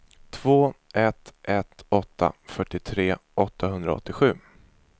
två ett ett åtta fyrtiotre åttahundraåttiosju